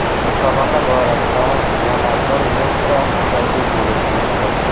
Musobaqa doirasida yana bir nechta uchrashuv bo‘lib o‘tdi.